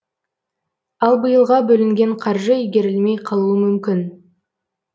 ал биылға бөлінген қаржы игерілмей қалуы мүмкін